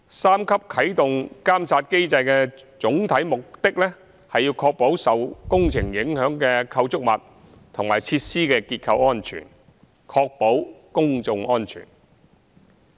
三級啟動監察機制的總體目的，是要確保受工程影響的構築物及設施的結構安全，亦要確保公眾安全。